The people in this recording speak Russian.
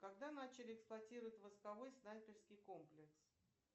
когда начали эксплуатировать войсковой снайперский комплекс